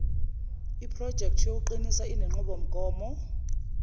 projekthi yokuqinisa inenqubomgomo